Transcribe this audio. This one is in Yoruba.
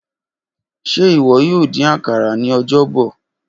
Ṣe iwọ yoo din akara ni Ọjọbọ?